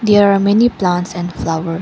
there are many plants and flower.